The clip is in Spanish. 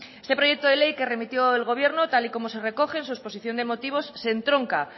este proyecto de ley que remitió el gobierno tal y como se recoge en su exposición de motivos se entronca